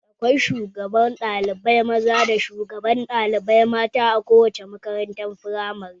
Akwai shugaban ɗalibai maza da shugabar ɗalibai mata a kowace makarantar firamare